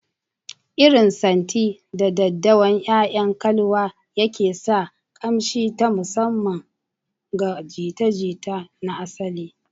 Irin santi, 'da daddawan 'ya'yan kalwa yake sa ƙamshi na musamman ga jita-jita na asali.